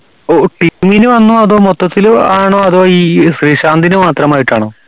ഓ ഒ team ന് ആന്നോ അതോ മൊത്തത്തില് ആണോ അതോ ഈ ശ്രീശാന്തിന് മാത്രമായിട്ടാണോ